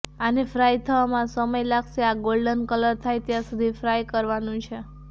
આને ફ્રાઈ થવામાં સમય લાગશે આ ગોલ્ડન કલર થાય ત્યાં સુધી ફ્રાઈ કરવાનું છે